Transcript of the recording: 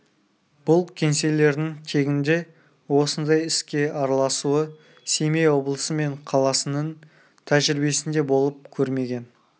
бұл кеңселердің тегінде осындай іске араласуы семей облысы мен қаласының тәжірибесінде болып көрмеген